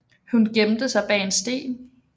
Hun gemte sig bag en sten